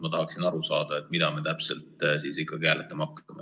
Ma tahaksin aru saada, mida täpselt me ikkagi hääletama hakkame.